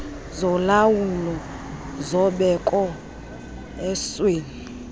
zolawulo zobeko esweni